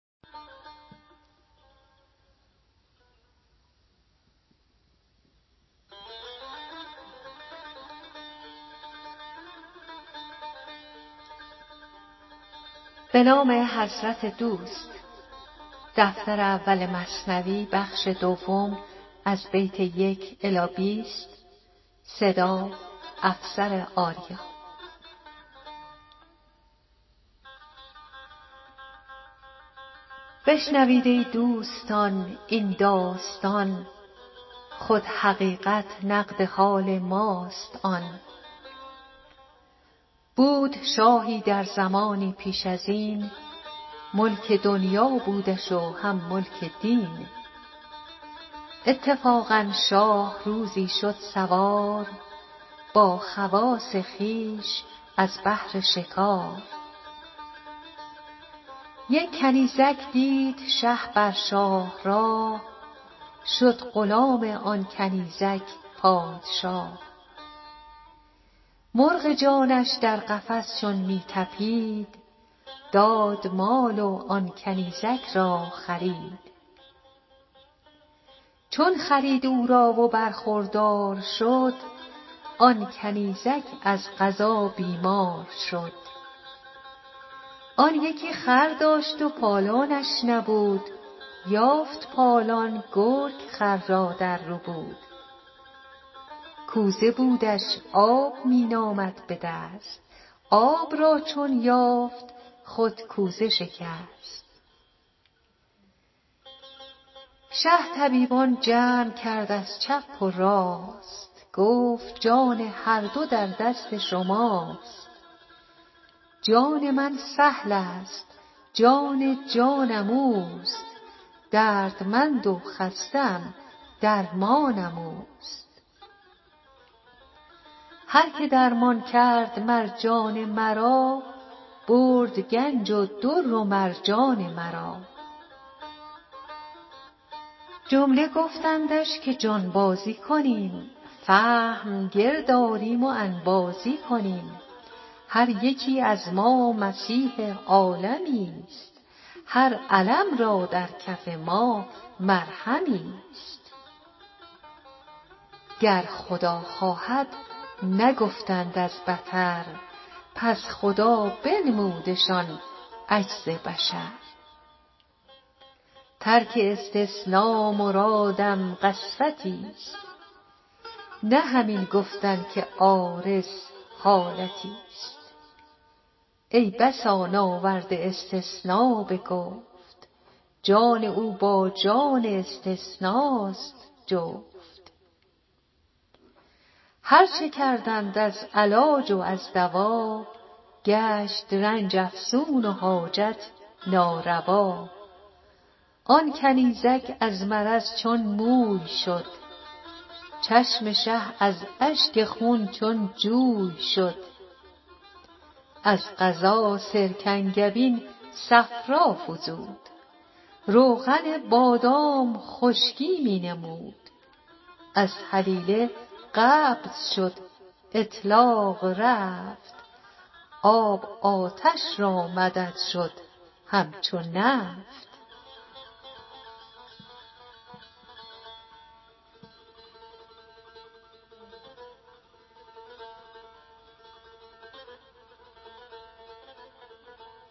بشنوید ای دوستان این داستان خود حقیقت نقد حال ماست آن بود شاهی در زمانی پیش ازین ملک دنیا بودش و هم ملک دین اتفاقا شاه روزی شد سوار با خواص خویش از بهر شکار یک کنیزک دید شه بر شاه راه شد غلام آن کنیزک پادشاه مرغ جانش در قفس چون می طپید داد مال و آن کنیزک را خرید چون خرید او را و برخوردار شد آن کنیزک از قضا بیمار شد آن یکی خر داشت پالانش نبود یافت پالان گرگ خر را در ربود کوزه بودش آب می نامد بدست آب را چون یافت خود کوزه شکست شه طبیبان جمع کرد از چپ و راست گفت جان هر دو در دست شماست جان من سهلست جان جانم اوست دردمند و خسته ام درمانم اوست هر که درمان کرد مر جان مرا برد گنج و در و مرجان مرا جمله گفتندش که جانبازی کنیم فهم گرد آریم و انبازی کنیم هر یکی از ما مسیح عالمیست هر الم را در کف ما مرهمیست گر خدا خواهد نگفتند از بطر پس خدا بنمودشان عجز بشر ترک استثنا مرادم قسوتی ست نه همین گفتن که عارض حالتی ست ای بسا ناورده استثنا به گفت جان او با جان استثناست جفت هرچه کردند از علاج و از دوا گشت رنج افزون و حاجت ناروا آن کنیزک از مرض چون موی شد چشم شه از اشک خون چون جوی شد از قضا سرکنگبین صفرا فزود روغن بادام خشکی می نمود از هلیله قبض شد اطلاق رفت آب آتش را مدد شد همچو نفت